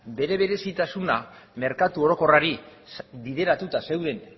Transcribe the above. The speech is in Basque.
bere berezitasuna merkatu orokorrari bideratuta zeuden